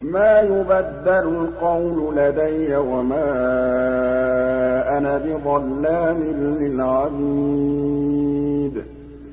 مَا يُبَدَّلُ الْقَوْلُ لَدَيَّ وَمَا أَنَا بِظَلَّامٍ لِّلْعَبِيدِ